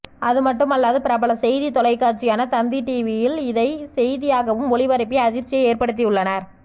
அதுமட்டுமல்லாது பிரபல செய்தி தொலைக்காட்சியான தந்தி டிவியில் இதை செய்தியாகவும் ஒளிபரப்பி அதிர்ச்சியை ஏற்படுத்தியுள்ளனர்